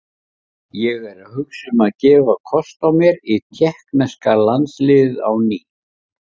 Ég er að hugsa um að gefa kost á mér í tékkneska landsliðið á ný.